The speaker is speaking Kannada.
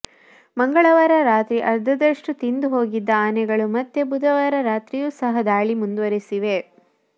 ಮಂಗಳವಾರ ರಾತ್ರಿ ಅರ್ಧದಷ್ಟು ತಿಂದು ಹೋಗಿದ್ದ ಆನೆಗಳು ಮತ್ತೆ ಬುಧವಾರ ರಾತ್ರಿಯೂ ಸಹ ದಾಳಿ ಮುಂದುವರಿಸಿವೆ